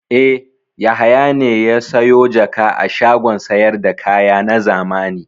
E, Yahaya ne ya sayo jaka a shagon sayar da kaya na zamani.